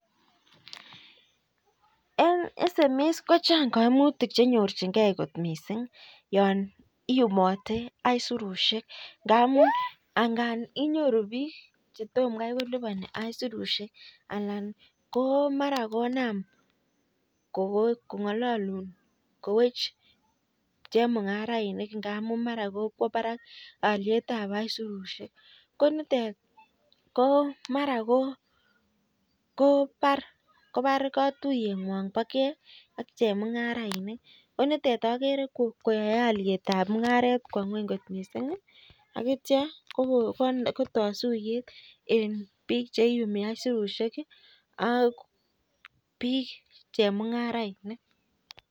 Chang kaimutik ya iyumatee asirushek ngamuu inyoruu bik chetomoo konamei koliban asirushek anan kokwaa barak aliet ab surushek ko tos bar katywet ngok ak chemungarainik